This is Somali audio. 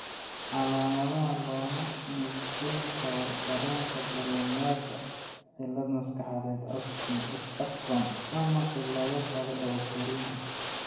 Calaamadaha looma nisbayn karo dareenka dareemayaasha, cillad maskaxeed, autism spectrum, ama cillado kale oo korriin ah.